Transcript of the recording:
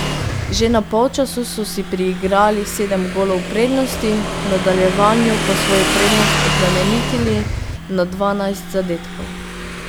Že na polčasu so si priigrali sedem golov prednosti, v nadaljevanju pa svojo prednost oplemenitili na dvanajst zadetkov.